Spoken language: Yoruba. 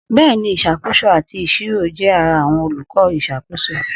Bẹ́ẹ̀ni, Ìṣàkóso àti Ìṣirò jẹ́ ara àwọn olùkọ́ ìṣàkóso.